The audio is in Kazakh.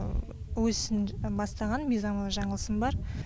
өз ісін бастаған мизамова жаңылсын бар